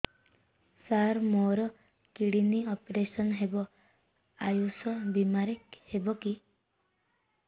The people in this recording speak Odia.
ସାର ମୋର କିଡ଼ନୀ ଅପେରସନ ହେବ ଆୟୁଷ ବିମାରେ ହେବ କି